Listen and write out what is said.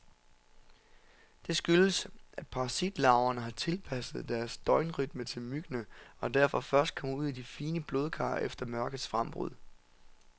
Det skyldes, at parasitlarverne har tilpasset deres døgnrytme til myggene, og derfor først kommer ud i de fine blodkar efter mørkets frembrud.